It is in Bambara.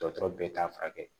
Dɔgɔtɔrɔ bɛɛ t'a furakɛ